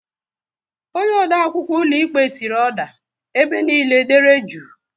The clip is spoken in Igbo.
Onye odeakwụkwọ ụlọikpe tiri "oda", ebe niile dere jụụ!